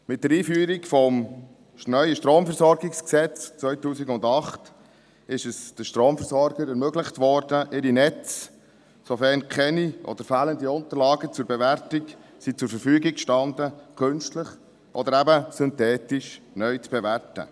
Mit der Einführung des neuen StromVG 2008 wurde den Stromversorgern ermöglicht, sofern keine Unterlagen zur Bewertung zur Verfügung standen oder wenn diese fehlten, ihre Netze künstlich – oder eben synthetisch – neu zu bewerten.